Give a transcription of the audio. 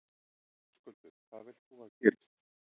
Höskuldur: Hvað vilt þú að gerist?